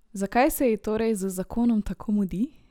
Zakaj se ji torej z zakonom tako mudi?